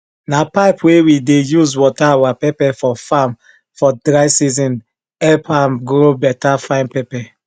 na pipe wey we dey use water our pepper for farm for dry season help am grow better fine pepper